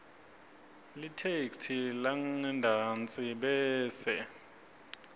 letheksthi lengentasi bese